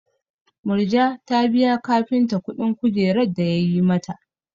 Murja ta biya kafinta kuɗin kujerar da yayi mata.